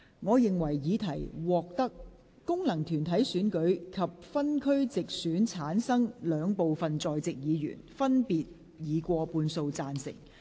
我認為議題獲得經由功能團體選舉產生及分區直接選舉產生的兩部分在席議員，分別以過半數贊成。